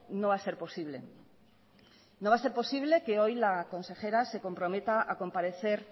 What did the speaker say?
no va a ser posible no va a ser posible que hoy la consejera se comprometa a comparecer